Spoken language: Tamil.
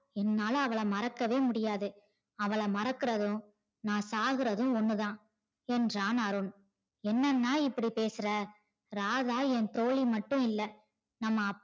என்னால அவல மறக்கவே முடியாது அவல மறக்கறது நா சாவறது ஒண்ணுதா என்றான் அருண் என்னன்னா இப்படி பேசுற ராதா என் தோழி மட்டும் இல்ல நம்ம அப்பா